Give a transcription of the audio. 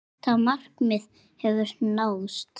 Þetta markmið hefur náðst.